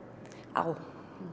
á